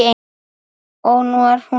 Og nú er hún farin.